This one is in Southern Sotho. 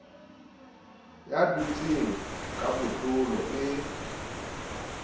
ya dutseng ka botlolo e